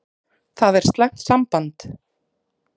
Það er slæmt samband.